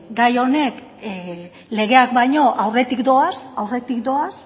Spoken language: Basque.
gai honek legeak baino aurretik doaz aurretik doaz